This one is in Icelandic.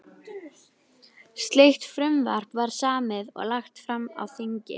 Slíkt frumvarp var samið og lagt fram á þingi